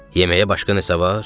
Yeməyə başqa nəsə var?